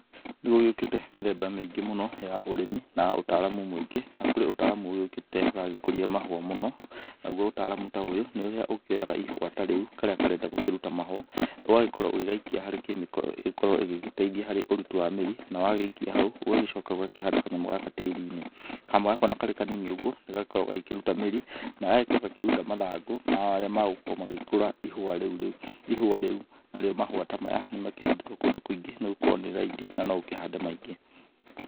Nĩ gũgĩũkĩte mĩthemba mĩingĩ mũno ya ũrĩmi na ũtaramu mũingĩ, na kũrĩ ũtaramu ũgĩũkĩte ũragĩkũria mahũa mũno, naguo ũtaramu ta ũyũ nĩ ũrĩa ũkĩoyaga ihũa ta rĩu karĩa karenda gũkĩruta mahũa, ũgagĩkorwo ugĩgaikia harĩ kĩmĩko ĩgũgĩkorwo igĩgĩteithia harĩ ũruti wa mĩri, na wagĩikia hau, ũgagĩcoka ũgakĩhanda kanyamũ gaka tĩri-inĩ. Kanyamũ gaka o na karĩ kanini ũguo nĩ gakoragwo gagĩkĩruta mĩri na gagagĩkorwo gagĩkĩruta mathangũ marĩa magugĩkorwo magĩkũra ihũa rĩu, narĩo mahũa ta maya nĩ makĩhandĩtwo kũndũ kũingĩ nĩ gũkorwo nĩ raithi na no ũkĩhande maingĩ.